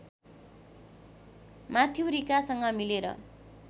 Matthew रिकासँग मिलेर